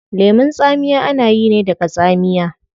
Lemun tsamiya ana yi ne daga tsamiya